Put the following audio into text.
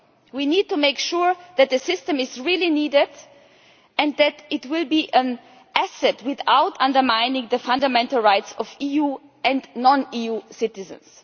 We need to make sure that the system is really needed and that it will be an asset, without undermining the fundamental rights of EU and non EU citizens.